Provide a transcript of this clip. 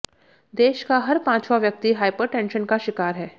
देश का हर पांचवां व्यक्ति हाइपरटेंशन का शिकार है